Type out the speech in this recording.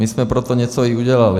My jsme pro to něco i udělali.